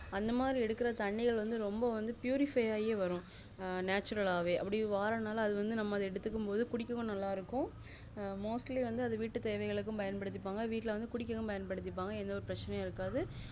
அந்த மாதிரி தண்ணிகள் ரொம்ப வந்து pureify ஆகியே வரும் ஆஹ் natural ஆவே அப்புடியே வாரனாலே அது வந்து எடுத்துக்கும் போது குடிக்கவும் நல்லாஇருக்கும் mostly வந்து வீட்டுதேவைக்களுக்கும்பயன் படுத்திபாங்க வீட்டுல குடிக்கவும் பயன்படுத்திபாங்க எந்த பிரச்சனைஇருக்காது